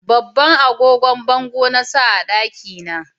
Babban agogon bango na sa a daki na